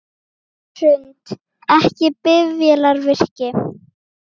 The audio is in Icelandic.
Hrund: Ekki bifvélavirki?